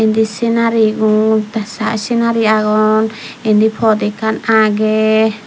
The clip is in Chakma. indi senarigun tey senari agon indi poth ekan agey.